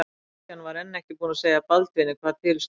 Christian var enn ekki búinn að segja Baldvini hvað til stóð.